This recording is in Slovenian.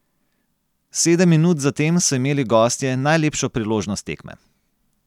Sedem minut zatem so imeli gostje najlepšo priložnost tekme.